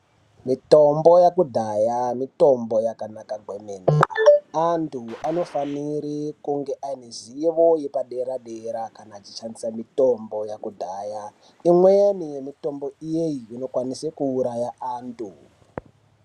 Mutombo yekudhaya mitombo yakanaka kwemene antu anofanire kunge aine zivo yepadera dera kana echishandisa mutombo yekudhaya imweni yemitombo iyi i okwanise kuuraya antu.